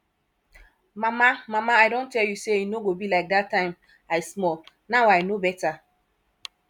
mama mama i don tell you say e no go be like dat time i small now i no beta